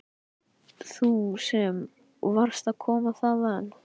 Þú sem varst að koma þaðan.